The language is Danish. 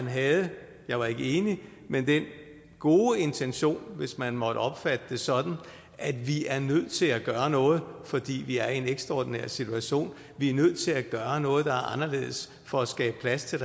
have jeg var ikke enig den gode intention hvis man måtte opfatte det sådan at vi er nødt til at gøre noget fordi vi er i en ekstraordinær situation vi er nødt til at gøre noget der er anderledes for at skabe plads til